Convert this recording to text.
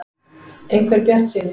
. einhver bjartsýni.